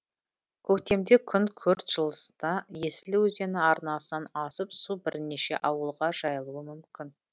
көктемде күн күрт жылынса есіл өзені арнасынан асып су бірнеше ауылға жайылуы мүмкін